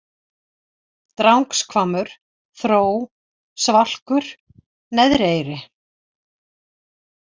Drangshvammur, Þró, Svalkur, Neðri-eyri